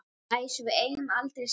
Dæs, við eigum aldrei séns!